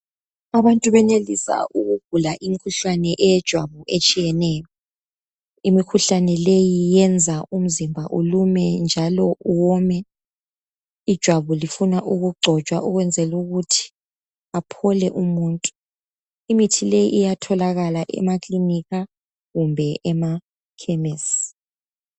Abantu benelisa ukugula imikhuhlane yejwabu etshiyeneyo. Imikhuhlane leyi yenza umzimba ulume njalo uwome. Ijwabu lifuna ukugcotshwa ukwenzela ukuthi aphole umuntu. Imithileyi iyatholakala emaklinika kumbe emakhemesi.